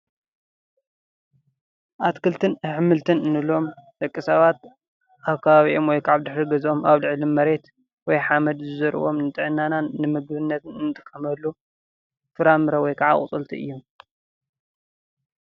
ኣትክልትን ኣሕምልትን ንብሎም ደቂ ሰባት ኣብ ከባቢኦም ወይ ከዓ ኣብ ድሕሪ ገዛኦም ኣብ ልዕሊ መሬት ወይ ሓመድ ዝዘርእዎም ንጥዕናና ንምግብነት እንጥቀመሉ ፍራምረ ወይ ካዓ ኣቑፅልቲ እዮም።